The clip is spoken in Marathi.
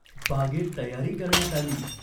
बागेत तयारी करण्यात आली.